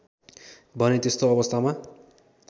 भने त्यस्तो अवस्थामा